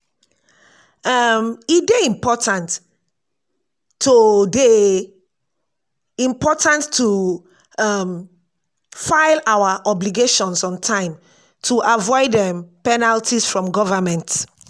um e dey important to dey important to um file our obligations on time to avoid um penalties from government.